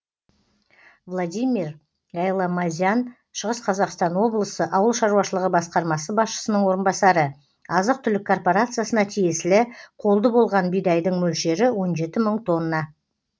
владимир гайламазян шығыс қазақстан облысы ауыл шаруашылығы басқармасы басшысының орынбасары азық түлік корпорациясына тиесілі қолды болған бидайдың мөлшері он жеті мың тонна